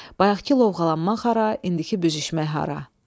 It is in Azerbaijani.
Bayaqkı lovğalanmaq hara, indiki büzüşmək hara?